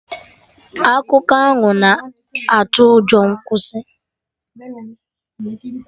Akụkọ ahụ na atụ ụjọ, kwụsị!